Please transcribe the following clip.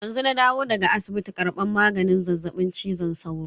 Yanzu na dawo daga asibiti karban maganin zazzaɓin cizon sauro.